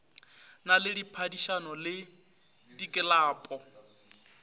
na le diphadišano le diklapo